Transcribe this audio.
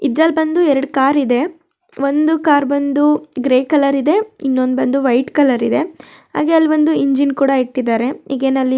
ಇದರಲ್ಲಿ ಬಂದು ಎರಡು ಕಾರ್ ಇದೆ ಒಂದು ಕಾರ್ ಬಂದು ಗ್ರೇ ಕಲರ್ ಇದೆ ಇನ್ನೊಂದು ಬಂದು ವೈಟ್ ಕಲರ್ ಇದೆ ಹಾಗೆ ಅಲ್ಲಿ ಒಂದು ಇಂಜಿನ್ ಕೂಡ ಇಟ್ಟಿದ್ದಾರೆ ಹೀಗೆ ನಲ್ಲಿ